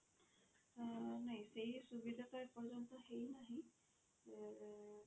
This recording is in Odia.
ଅ ନାଇଁ ସେଇ ସୁବିଧା ଟା ଏ ପର୍ଯ୍ୟନ୍ତ ହେଇ ନାହିଁ ଏ